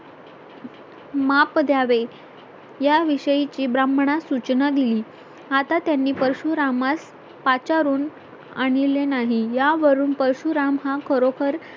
माप द्यावे याविषयीची ब्राह्मणास सूचना दिली आता त्यांनी परशुरामास पाचारून आणिले नाही यावरून परशुराम हा खरोखर